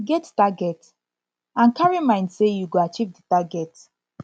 get target and carry mind sey you go achieve di target